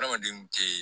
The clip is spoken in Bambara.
Adamadenw tee